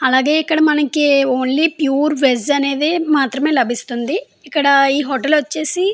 అలాగే మనకి ఇక్కడ ఓన్లీ ప్యూర్ వెజ్ అనేది మాత్రమే లభిస్తుంది. ఇక్కడ ఈ హోటల్ వచ్చేసి --